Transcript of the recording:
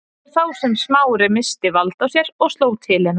Það var þá sem Smári missti vald á sér og sló til hennar.